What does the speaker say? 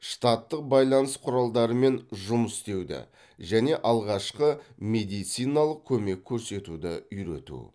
штаттық байланыс құралдарымен жұмыс істеуді және алғашқы медициналық көмек көрсетуді үйрету